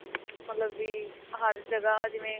ਮਤਲਬ ਵੀ ਹਰ ਜਗ੍ਹਾ ਜਿਵੇਂ